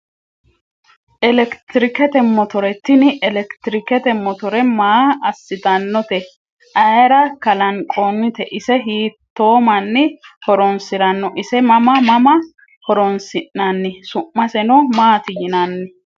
Eletrikete motore tini elektirikete motore maa asitanote ayira kalanqoonite ise hiito mani horonsirano ise mama mama horonsinani su`maseno maati yinani